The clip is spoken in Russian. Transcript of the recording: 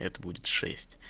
это будет шесть